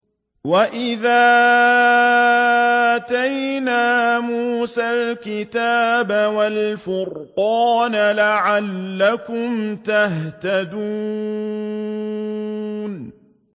وَإِذْ آتَيْنَا مُوسَى الْكِتَابَ وَالْفُرْقَانَ لَعَلَّكُمْ تَهْتَدُونَ